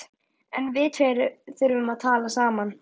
En við tveir þurfum að tala saman.